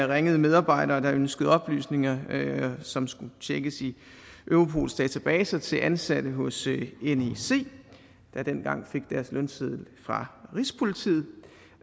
ringede medarbejdere der ønskede oplysninger som skulle tjekkes i europols databaser til ansatte hos nec der dengang fik deres lønseddel fra rigspolitiet